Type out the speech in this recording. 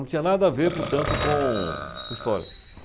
Não tinha nada a ver, portanto, com com história.